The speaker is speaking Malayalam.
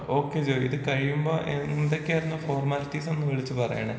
ഓക്കെ ജോയ് ഇത് കഴിയുമ്പോ എന്തൊക്കെയായിരുന്നു ഫോർമാലിറ്റീസ് എന്ന് വിളിച്ച് പറയണേ?